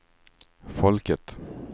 folket